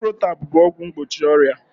Ciprotab bụ ọgwụ mgbochi ọrịa